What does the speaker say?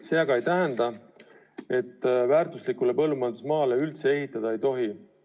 See aga ei tähenda, et väärtuslikule põllumajandusmaale üldse ehitada ei tohi.